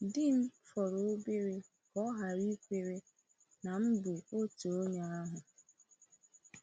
Di m fọrọ obere ka ọ ghara ikwere na m bụ otu onye ahụ.